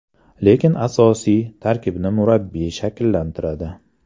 Lekin asosiy tarkibni murabbiy shakllantiradi.